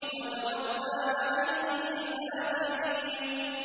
وَتَرَكْنَا عَلَيْهِ فِي الْآخِرِينَ